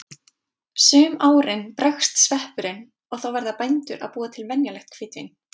Sum árin bregst sveppurinn og þá verða bændur að búa til venjulegt hvítvín.